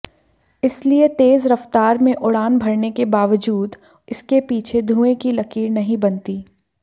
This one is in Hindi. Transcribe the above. इसलिए तेज रफ्तार में उड़ान भरने के बावजूद इसके पीछे धुएं की लकीर नहीं बनती